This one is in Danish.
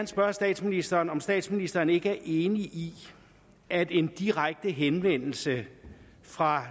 spørge statsministeren om statsministeren ikke er enig i at en direkte henvendelse fra